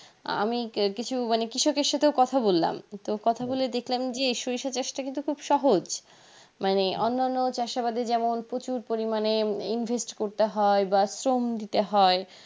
আমি কেরকিছু কৃষকের সাথেও কথা বলাম তো কথা বলে দেখলাম যে সরিষা চাষ টা কিন্তু খুব সহজ মানে অন্যান্য চাষাবাদ যেমন প্রচুর পরিমানে invest করতে হয় বা শ্রম দিতে হয়